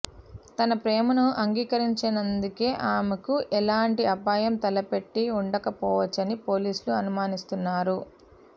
తన ప్రేమను అంగీకరించినందుకే ఆమెకు ఎలాంటి అపాయం తలపెట్టి ఉండకపొవచ్చని పోలీసులు అనుమానిస్తున్నారు